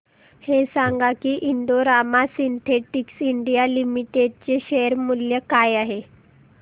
हे सांगा की Indo Rama Synthetics India Limited चे शेअर मूल्य काय आहे